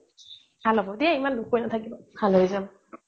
ভাল হ'ব দেই ইমান দুখ কৰি নাথাকিবা ভাল হৈ যাব